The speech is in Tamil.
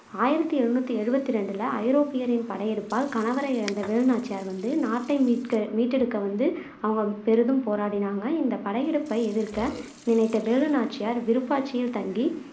ஆயிரத்தி எழுநூத்தி எழுவத்து ரெண்டுல ஐரோப்பியரின் படையெடுப்பால் கணவரை இழந்த வேலுநாச்சியார் வந்து நாட்டை மீட்க மீட்டெடுக்க வந்து அவங்க பெரிதும் போராடுனாங்க இந்தப் படையெடுப்பை எதிர்க்க நினைத்த வேலுநாச்சியார் விருப்பாட்சியில் தங்கி